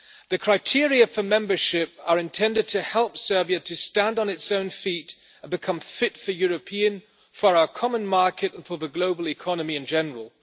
The criteria for membership are intended to help Serbia to stand on its own feet and become fit for our common market and for the global economy in general.